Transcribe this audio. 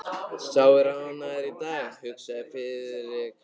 Sá er ánægður í dag, hugsaði Friðrik.